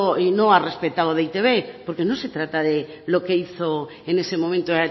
y no ha respetado de e i te be porque no se trata de lo que hizo en ese momento